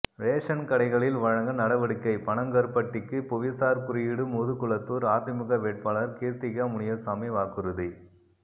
ration கடைகளில் வழங்க நடவடிக்கை பனங்கருப்பட்டிக்கு புவிசார் குறியீடு முதுகுளத்தூர் அதிமுக வேட்பாளர் கீர்த்திகா முனியசாமி வாக்குறுதி